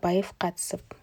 абаев қатысып